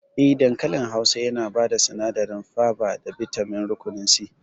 Eh, dankali Hausa yana bada sinadarin faba da bitamin rukunin C